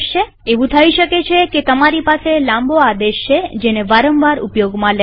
એવું થઇ શકે છે તમારી પાસે લાંબો આદેશ છે જેને વારંવાર ઉપયોગમાં લેવાય છે